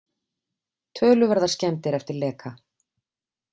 Töluverðar skemmdir eftir leka